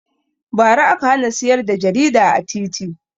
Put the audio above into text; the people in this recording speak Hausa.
Ba ra aka hana siyar da jarida a titi